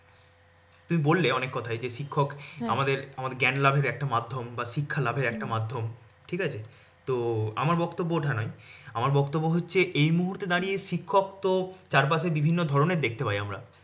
তুমি বললে অনেক কথাই যে শিক্ষক আমাদের আমার জ্ঞান লাভের একটা মাধ্যম বা শিক্ষা লাভের একটা মাধ্যম ঠিক আছে তো আমার বক্তব্য ওটা নয় আমার বক্তব্য হচ্ছে এই মুহূর্তে দাঁড়িয়ে শিক্ষক তো চারপাশে বিভিন্ন ধরনের দেখতে পাই আমরা